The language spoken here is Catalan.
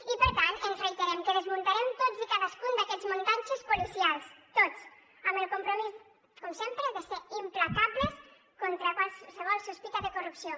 i per tant ens reiterem que desmuntarem tots i cadascun d’aquests muntatges policials tots amb el compromís com sempre de ser implacables contra qualsevol sospita de corrupció